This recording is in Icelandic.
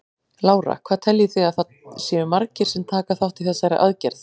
Lára: Hvað teljið þið að það séu margir sem taka þátt í þessari aðgerð?